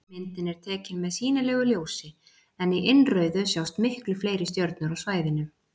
Myndin er tekin með sýnilegu ljósi en í innrauðu sjást miklu fleiri stjörnur á svæðinu.